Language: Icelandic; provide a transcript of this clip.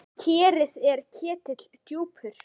Kerið er ketill djúpur.